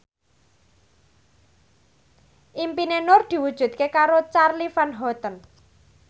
impine Nur diwujudke karo Charly Van Houten